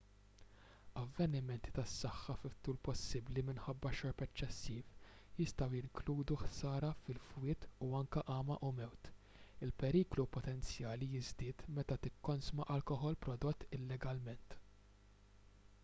avvenimenti tas-saħħa fit-tul possibbli minħabba xorb eċċessiv jistgħu jinkludu ħsara fil-fwied u anke għama u mewt il-periklu potenzjali jiżdied meta tikkonsma alkoħol prodott illegalment